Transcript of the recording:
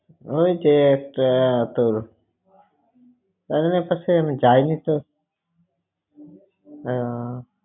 ওই যে এতো~ এ~ তোর আহ